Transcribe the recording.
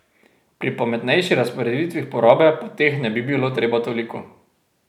Pri pametnejši razporeditvi porabe pa teh ne bi bilo treba toliko.